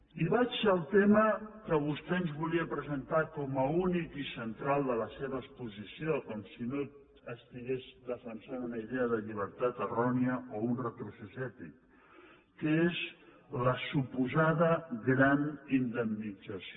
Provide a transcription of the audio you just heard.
i vaig al tema que vostè ens volia presentar com a únic i central de la seva exposició com si no estigués defensant una idea de llibertat errònia o un retrocés ètic que és la suposada gran indemnització